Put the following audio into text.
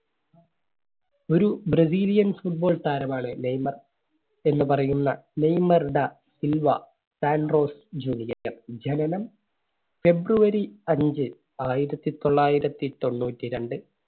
ഒരു Brazil യൻ Football താരമാണ് നെയ്‌മർ എന്ന് പറയുന്ന Neymar da Silva Santos junior ജനനം february അഞ്ച് ആയിരത്തി തൊള്ളായിരത്തി തൊണ്ണൂറ്റി രണ്ട്‌